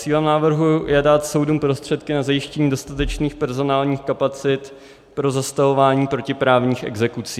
Cílem návrhu je dát soudům prostředky na zajištění dostatečných personálních kapacit pro zastavování protiprávních exekucí.